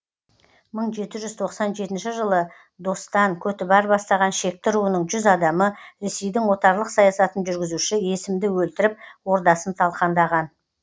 мың жеті жүз тоқсани жетінші жылы достан көтібар бастаған шекті руының жүз адамы ресейдің отарлық саясатын жүргізуші есімді өлтіріп ордасын талқандаған